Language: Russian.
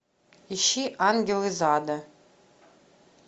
ищи ангел из ада